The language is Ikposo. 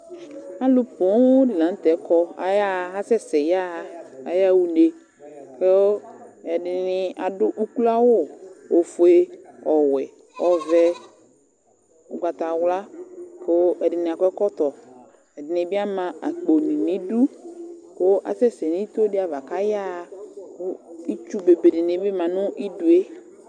Alʋ poo dɩ la nʋ tɛ kɔ, ayaɣa, asɛsɛ yaɣa, ayaɣa une kʋ ɛdɩnɩ adʋ ukloawʋ, ofue, ɔwɛ, ɔvɛ, ʋgbatawla kʋ ɛdɩnɩ akɔ ɛkɔtɔ, ɛdɩnɩ bɩ ama akponɩ nʋ idu kʋ asɛsɛ nʋ ito dɩ ava kʋ ayaɣa kʋ itsu bebe dɩnɩ bɩ ma nʋ idu yɛ